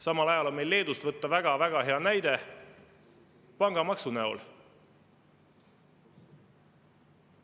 Samal ajal on meil Leedust võtta väga hea näide pangamaksu näol.